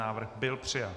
Návrh byl přijat.